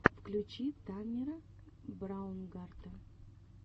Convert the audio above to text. включи таннера браунгарта